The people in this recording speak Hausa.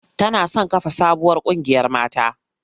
Tana son kafa sabuwar ƙungiyar mata.